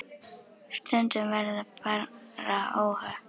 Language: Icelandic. Stundum verða bara óhöpp.